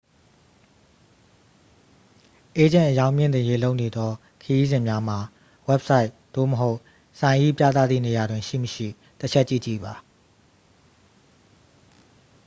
အေးဂျင့် အရောင်းမြှင့်တင်ရေးလုပ်နေသောခရီးစဉ်များမှာ ဝဘ်ဆိုက် သို့မဟုတ် ဆိုင်၏ပြသသည့်နေရာတွင် ရှိ မရှိ တစ်ချက်ကြည့်ကြည့်ပါ